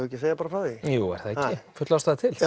ekki að segja bara frá því jú er það ekki full ástæða til